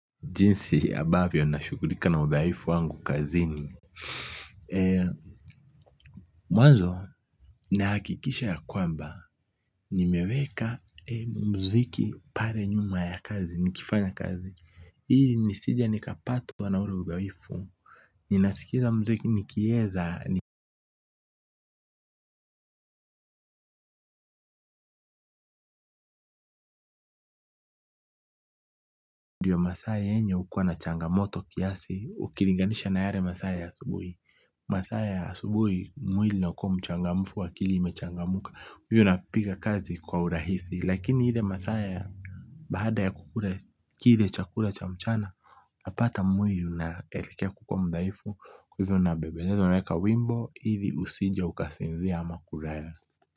Jinsi ambavyo nashughulika na udhaifu wangu kazini. Mwanzo, nahakikisha ya kwamba, nimeweka mziki pale nyuma ya kazi, nikifanya kazi. Ili nisije nikapatwa na ule udhaifu. Ninasikiza mziki nikieza ni ndio masaa yenye hukua na changamoto kiasi, ukilinganisha na yale masaa ya asubuhi. Masaa ya asubuhi mwili unakuwa mchangamfu akili imechangamka. Hivyo napiga kazi kwa urahisi lakini ile masaa ya baada ya kukula kile chakula cha mchana napata mwili unaelekea kukuwa mdhaifu hivyo unabembeleza. Unaweka wimbo ili usije ukasinzia ama kulala.